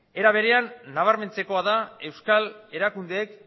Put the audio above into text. era berea nabarmentzekoa da euskal erakundeek